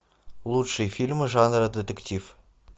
лучшие фильмы жанра детектив